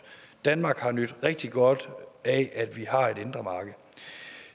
danmark har nydt rigtig godt af at vi har et indre marked